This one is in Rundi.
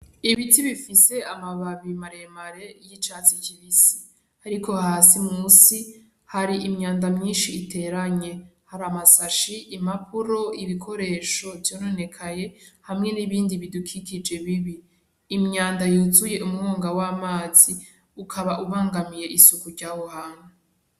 Ibiti bifise amabibi maremare y'icatsi kibisi ariko hasi munsi hari imyanda myishi iteranye hari amasashe, impapuro, ibikoresho vyononekaye hamwe n'ibindi bidukikije bibi. Imyanda y'uzuye umwonga w'amazi ukaba ubangamiye isuku ryaho hantu.